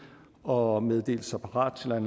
og meddelte sig parat til at